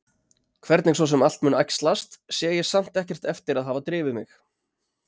Hvernig svo sem allt mun æxlast sé ég samt ekkert eftir að hafa drifið mig.